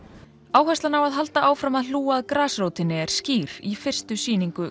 áherslan á að halda áfram að hlúa að grasrótinni er skýr í fyrstu sýningu